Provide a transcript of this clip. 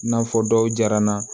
I n'a fɔ dɔw jara n na